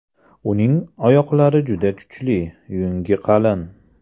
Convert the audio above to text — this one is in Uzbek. Uning oyoqlari juda kuchli, yungi qalin.